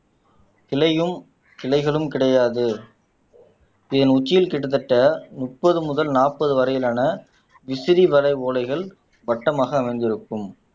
இலையும் கிளைகளும் கிடையாது இதன் உச்சியில் கிட்டத்தட்ட முப்பது முதல் நாற்பது வரையிலான விசிறி வரை ஓலைகள் வட்டமாக அமைந்திருக்கும்